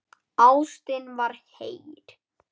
Ástin var heit.